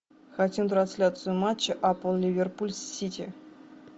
хотим трансляцию матча апл ливерпуль с сити